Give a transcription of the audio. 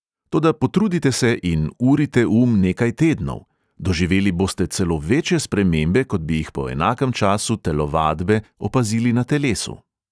Toda potrudite se in urite um nekaj tednov – doživeli boste celo večje spremembe, kot bi jih po enakem času telovadbe opazili na telesu.